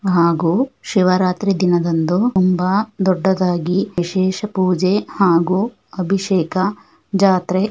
ಹಾಗೂ ಶಿವರಾತ್ರಿ ದಿನದಂದು ತುಂಬಾ ದೊಡ್ಡದ್ದಾಗಿ ವಿಶೇಷ ಪೂಜೆ ಹಾಗೂ ಅಭಿಶೇಕ ಜಾತ್ರೆ --